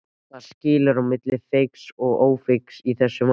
Hvað skilur á milli feigs og ófeigs í þessu máli?